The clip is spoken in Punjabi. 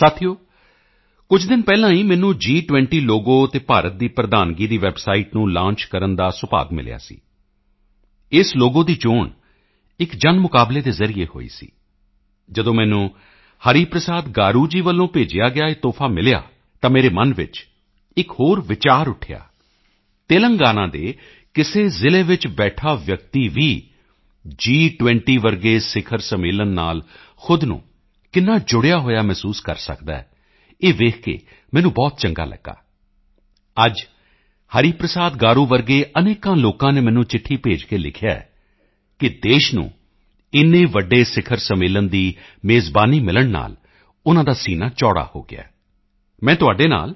ਸਾਥੀਓ ਕੁਝ ਦਿਨ ਪਹਿਲਾਂ ਹੀ ਮੈਨੂੰ ਜੀ20 ਲੋਗੋ ਅਤੇ ਭਾਰਤ ਦੀ ਪ੍ਰਧਾਨਗੀ ਪ੍ਰੈਜ਼ੀਡੈਂਸੀ ਦੀ ਵੈੱਬਸਾਈਟ ਨੂੰ ਲਾਂਚ ਕਰਨ ਦਾ ਸੁਭਾਗ ਮਿਲਿਆ ਸੀ ਇਸ ਲੋਗੋ ਦੀ ਚੋਣ ਇੱਕ ਜਨਮੁਕਾਬਲੇ ਦੇ ਜ਼ਰੀਏ ਹੋਈ ਸੀ ਜਦੋਂ ਮੈਨੂੰ ਹਰੀ ਪ੍ਰਸਾਦ ਗਾਰੂ ਜੀ ਵੱਲੋਂ ਭੇਜਿਆ ਗਿਆ ਇਹ ਤੋਹਫ਼ਾ ਮਿਲਿਆ ਤਾਂ ਮੇਰੇ ਮਨ ਵਿੱਚ ਇੱਕ ਹੋਰ ਵਿਚਾਰ ਉੱਠਿਆ ਤੇਲੰਗਾਨਾ ਦੇ ਕਿਸੇ ਜ਼ਿਲ੍ਹੇ ਵਿੱਚ ਬੈਠਾ ਵਿਅਕਤੀ ਵੀ ਜੀ20 ਜਿਹੇ ਸਿਖਰ ਸੰਮੇਲਨ ਨਾਲ ਖ਼ੁਦ ਨੂੰ ਕਿੰਨਾ ਜੁੜਿਆ ਹੋਇਆ ਮਹਿਸੂਸ ਕਰ ਸਕਦਾ ਹੈ ਇਹ ਦੇਖ ਕੇ ਮੈਨੂੰ ਬਹੁਤ ਚੰਗਾ ਲਗਿਆ ਅੱਜ ਹਰੀ ਪ੍ਰਸਾਦ ਗਾਰੂ ਜਿਹੇ ਅਨੇਕਾਂ ਲੋਕਾਂ ਨੇ ਮੈਨੂੰ ਚਿੱਠੀ ਭੇਜ ਕੇ ਲਿਖਿਆ ਹੈ ਕਿ ਦੇਸ਼ ਨੂੰ ਇੰਨੇ ਵੱਡੇ ਸਿਖਰ ਸੰਮੇਲਨ ਦੀ ਮੇਜ਼ਬਾਨੀ ਮਿਲਣ ਨਾਲ ਉਨ੍ਹਾਂ ਦਾ ਸੀਨਾ ਚੌੜਾ ਹੋ ਗਿਆ ਹੈ ਮੈਂ ਤੁਹਾਡੇ ਨਾਲ